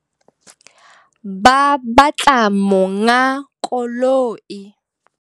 Ba batla monga koloi.